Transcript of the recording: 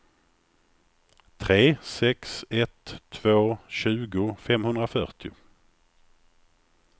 tre sex ett två tjugo femhundrafyrtio